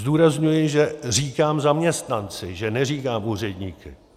Zdůrazňuji, že říkám zaměstnanci, že neříkám úředníky.